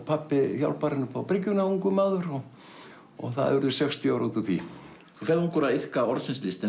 pabbi hjálpar henni upp á bryggjuna ungur maður og það eru sextíu ár út úr því þú ferð ungur að iðka orðsins list en